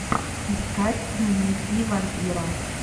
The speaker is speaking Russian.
искать дневники вампира